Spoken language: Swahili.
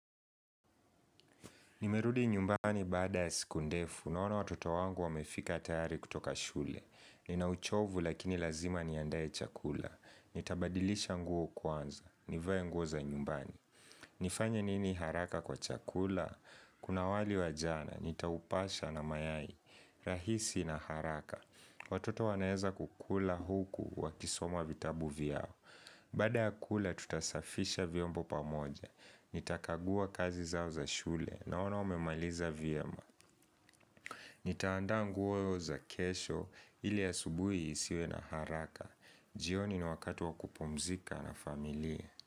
Nimerudi nyumbani baada ya siku ndefu, naona watoto wangu wamefika tayari kutoka shule. Ninauchovu lakini lazima niandaye chakula. Nitabadilisha nguo kwanza. Nivae nguo za nyumbani. Nifanya nini haraka kwa chakula? Kuna wali wa jana, nitaupasha na mayai. Rahisi na haraka. Watoto wanaeza kukula huku wakisoma vitabu vyao. Baada ya kula, tutasafisha vyombo pamoja. Nitakagua kazi zao za shule naona wamemaliza vyema Nitaanda nguo za kesho ili a subuhi isiwe na haraka jioni ni wakati wa kupumzika na familie.